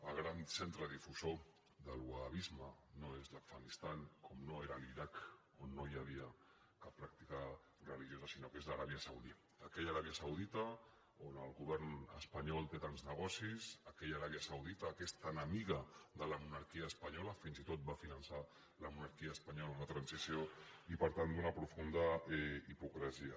el gran centre difusor del wahhabisme no és l’afganistan com no era l’iraq on no hi havia cap pràctica religiosa sinó que és l’aràbia saudita aquesta aràbia saudita on el govern espanyol té tants negocis aquella aràbia saudita que és tan amiga de la monarquia espanyola fins i tot va finançar la monarquia espanyola en la transició i per tant d’una profunda hipocresia